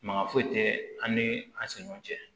Maka foyi tɛ an ni an ni ɲɔgɔn cɛ